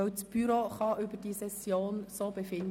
Grundsätzlich kann das Büro so über die Session befinden.